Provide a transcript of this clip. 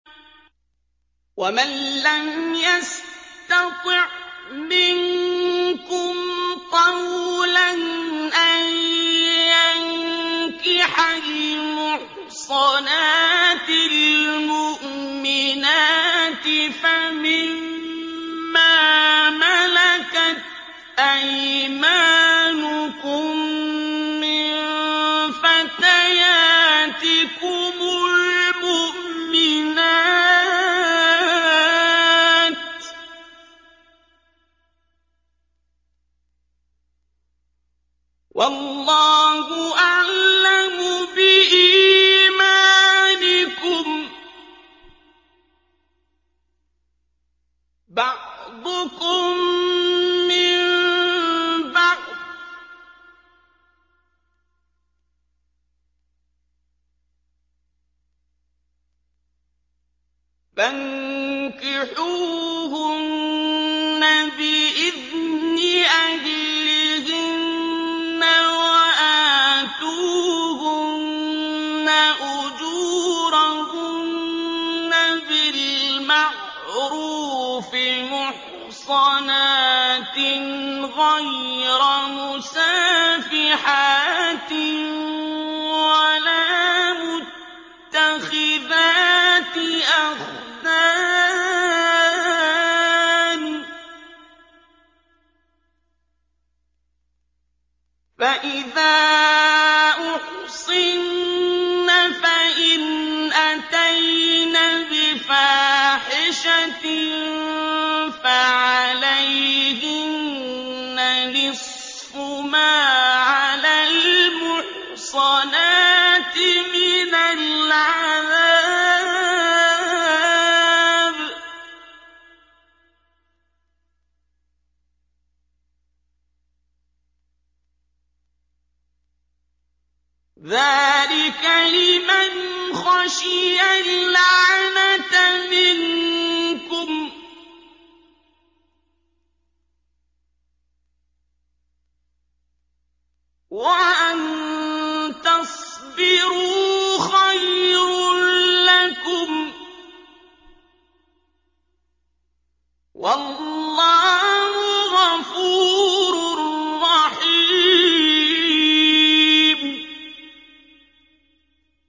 وَمَن لَّمْ يَسْتَطِعْ مِنكُمْ طَوْلًا أَن يَنكِحَ الْمُحْصَنَاتِ الْمُؤْمِنَاتِ فَمِن مَّا مَلَكَتْ أَيْمَانُكُم مِّن فَتَيَاتِكُمُ الْمُؤْمِنَاتِ ۚ وَاللَّهُ أَعْلَمُ بِإِيمَانِكُم ۚ بَعْضُكُم مِّن بَعْضٍ ۚ فَانكِحُوهُنَّ بِإِذْنِ أَهْلِهِنَّ وَآتُوهُنَّ أُجُورَهُنَّ بِالْمَعْرُوفِ مُحْصَنَاتٍ غَيْرَ مُسَافِحَاتٍ وَلَا مُتَّخِذَاتِ أَخْدَانٍ ۚ فَإِذَا أُحْصِنَّ فَإِنْ أَتَيْنَ بِفَاحِشَةٍ فَعَلَيْهِنَّ نِصْفُ مَا عَلَى الْمُحْصَنَاتِ مِنَ الْعَذَابِ ۚ ذَٰلِكَ لِمَنْ خَشِيَ الْعَنَتَ مِنكُمْ ۚ وَأَن تَصْبِرُوا خَيْرٌ لَّكُمْ ۗ وَاللَّهُ غَفُورٌ رَّحِيمٌ